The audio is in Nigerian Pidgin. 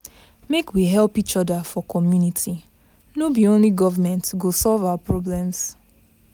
Make we help each other for community, no be only government go solve our problems.